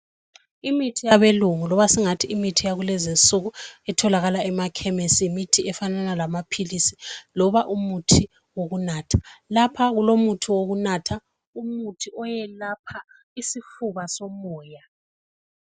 imithi yabelungu noma sesingathi imithi yakulezinsuku etholakala emakhemisi imithi efanana lamaphilisi noma umuthi wokunatha lapha kulomuthi wokunatha umuthi oyelapha isifuba somoya